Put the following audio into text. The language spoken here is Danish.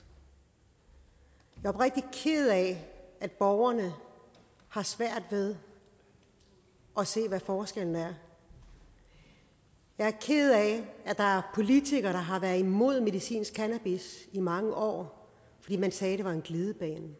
jeg er oprigtigt ked af at borgerne har svært ved at se hvad forskellen er jeg er ked af at der er politikere der har været imod medicinsk cannabis i mange år fordi man sagde det var en glidebane